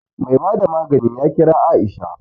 Mai bada magani ya kira Aisha